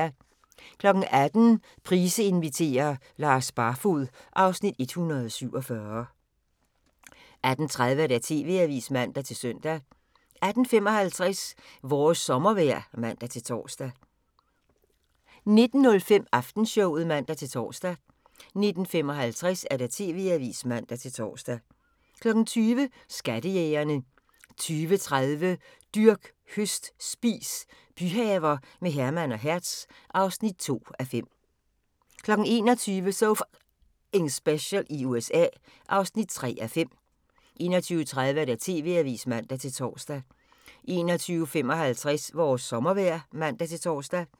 18:00: Price inviterer - Lars Barfoed (Afs. 147) 18:30: TV-avisen (man-søn) 18:55: Vores sommervejr (man-tor) 19:05: Aftenshowet (man-tor) 19:55: TV-avisen (man-tor) 20:00: Skattejægerne 20:30: Dyrk, høst, spis – byhaver med Herman og Hertz (2:5) 21:00: So F***ing Special i USA (3:5) 21:30: TV-avisen (man-tor) 21:55: Vores sommervejr (man-tor)